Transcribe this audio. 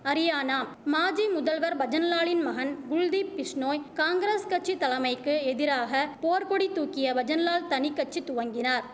அரியானா மாஜி முதல்வர் பஜன்லாலின் மகன் குல்தீப் பிஷ்ணோய் காங்கிரஸ் கட்சி தலமைக்கு எதிராக போர்க்கொடி தூக்கிய பஜன்லால் தனிக்கட்சி துவங்கினார்